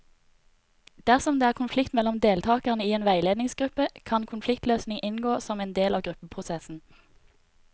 Dersom det er konflikt mellom deltakere i en veiledningsgruppe, kan konfliktløsning inngå som en del av gruppeprosessen.